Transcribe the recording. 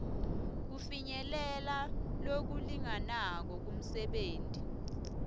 kufinyelela lokulinganako kumisebenti